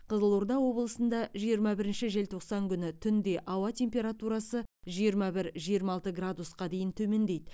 қызылорда облысында жиырма бірінші желтоқсан күні түнде ауа температурасы жиырма бір жиырма алты градусқа дейін төмендейді